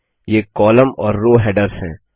ये कॉलम और row headers हैं